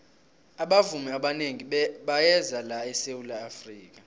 abavumi abanengi bayeza la esawula afrika